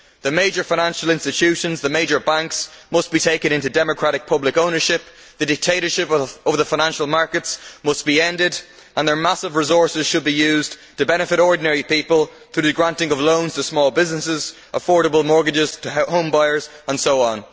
The major financial institutions, the major banks, must be taken into democratic public ownership. The dictatorship of the financial markets must be ended, and their massive resources should be used to benefit ordinary people through the granting of loans to small businesses, affordable mortgages to help homebuyers, and so on.